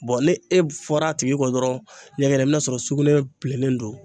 ni e fɔra a tigi kɔ dɔrɔn ɲɛgɛna, i bɛn'a sɔrɔ sugunɛ bilennen don.